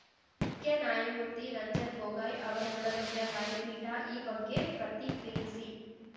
ಮುಖ್ಯ ನ್ಯಾಯಮೂರ್ತಿ ರಂಜನ್‌ ಗೊಗೋಯ್‌ ಅವರನ್ನೊಳಗೊಂಡ ನ್ಯಾಯಪೀಠ ಈ ಬಗ್ಗೆ ಪ್ರತಿಕ್ರಿಯಿಸಿ